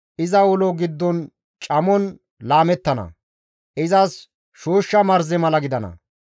Iza ulo giddon camon laamettana; izas shooshsha marze mala gidana.